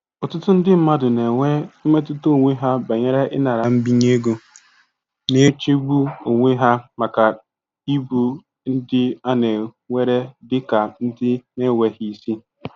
Ọtụtụ ndị mmadụ na-enwe mmetụta onwe ha banyere ịnara mbinye ego, na-echegbu onwe ha maka ịbụ ndị a na-ewere dị ka ndị na-enweghị isi.